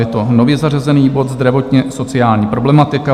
Je to nově zařazený bod Zdravotně-sociální problematika.